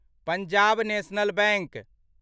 Punjab National bank